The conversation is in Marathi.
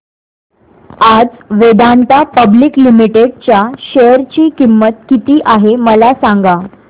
आज वेदांता पब्लिक लिमिटेड च्या शेअर ची किंमत किती आहे मला सांगा